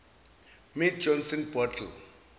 mead johnson bottle